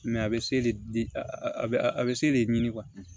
a bɛ se le di a bɛ se de ɲini